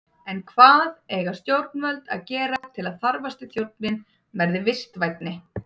En hvað eiga stjórnvöld að gera til að þarfasti þjónninn verði vistvænni?